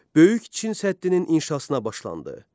Böyük Çin səddinin inşasına başlandı.